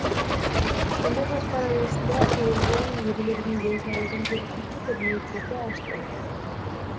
кешенді жоспар аясында әйелдер мен ерлердің денсаулығын зерттейтін кабинеттерді аштық